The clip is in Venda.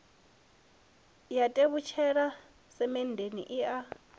ya tevhutshela semenndeni i a